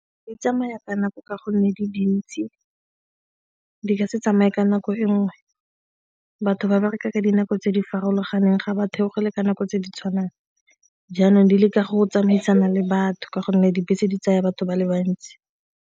Di tsamaya ka nako ka gonne di dintsi, di ka se tsamaye ka nako e nngwe, batho ba bereka ka dinako tse di farologaneng ga ba theogele ka nako tse di tshwanang. Jaanong di leka go tsamaisana le batho ka gonne dibese di tsaya batho ba le bantsi.